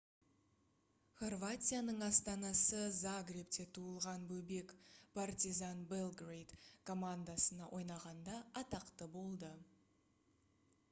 хорватияның астанасы загребте туылған бобек partizan belgrade командасына ойнағанда атақты болды